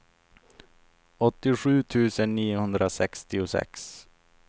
åttiosju tusen niohundrasextiosex